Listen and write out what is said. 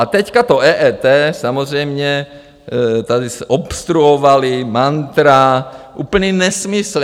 A teď to EET samozřejmě tady obstruovali, mantra, úplný nesmysl.